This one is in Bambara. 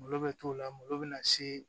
Malo bɛ t'o la malo bɛ na se